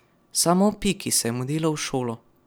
Samo Piki se je malo mudilo v šolo.